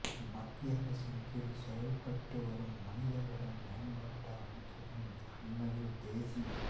மத்திய அரசின் கீழ் செயல்பட்டு வரும் மனித வள மேம்பாட்டு அமைச்சகம் அண்மையில் தேசிய